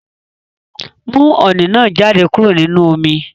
Mú oní náá jáde kúrò nínú omi